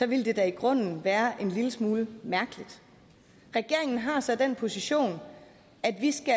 ville det da i grunden være en lille smule mærkeligt regeringen har så den position